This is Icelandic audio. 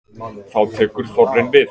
Þá tekur þorrinn við.